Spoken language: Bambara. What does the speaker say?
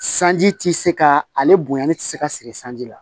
Sanji ti se ka ale bonyali ti se ka siri sanji la